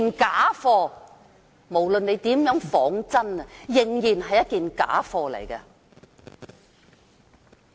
假貨無論如何仿真，仍然是假貨。